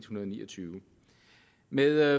hundrede og ni og tyve med